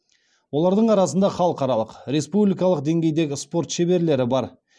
олардың арасында халықаралқ республикалық деңгейдегі спорт шеберлері бар